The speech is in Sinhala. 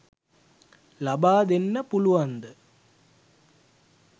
ලබා දෙන්න පුළුවන්ද?